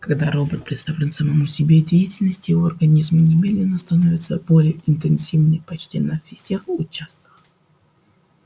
когда робот представлен самому себе деятельность его организма немедленно становится более интенсивной почти на всех участках